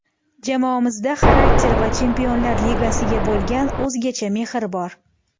Jamoamizda xarakter va Chempionlar Ligasiga bo‘lgan o‘zgacha mehr bor.